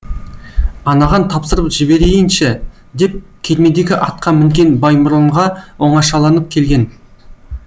анаған тапсырып жіберейінші деп кермедегі атқа мінген баймұрынға оңашаланып келген